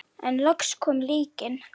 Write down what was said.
En loks kom líknin.